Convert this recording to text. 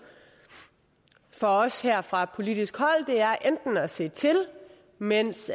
for os her fra politisk hold det er enten at se til mens